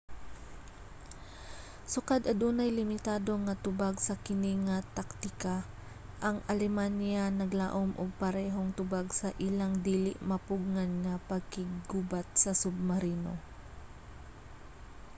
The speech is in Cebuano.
sukad adunay limitado nga tubag sa kini nga taktika ang alemanya naglaom og parehong tubag sa ilang dili mapugngan nga pakiggubat sa submarino